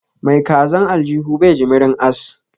Mai kazan aljuhu bai jimirin ass